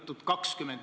Proua minister!